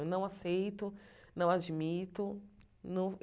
Eu não aceito, não admito. Não